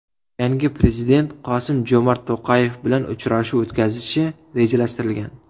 Yangi prezident Qosim-Jomart To‘qayev bilan uchrashuv o‘tkazishi rejalashtirilgan.